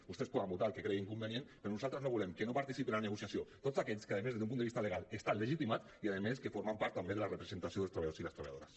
vostès poden votar el que creguin convenient però nosaltres no volem que no participin en la negociació tots aquests que a més des d’un punt de vista legal hi estan legitimats i a més que formen part també de la representació dels treballadors i les treballadores